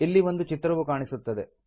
ಇಲ್ಲಿ ಒಂದು ಚಿತ್ರವು ಕಾಣಿಸುತ್ತದೆ